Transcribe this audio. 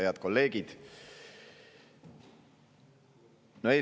Head kolleegid!